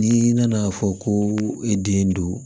N'i nana fɔ ko e den do